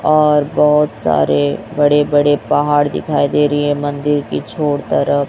और बहोत सारे बड़े बड़े पहाड़ दिखाई दे रहे हैं मंदिर की छओर तरफ।